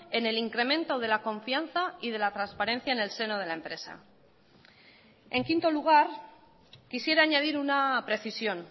en el incremento de la confianza y de la transparencia en el seno de la empresa en quinto lugar quisiera añadir una precisión